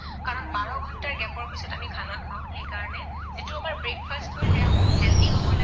সেইকাৰণে যিটো আমাৰ breakfast হয় সেয়া বহুত healthy হব লাগে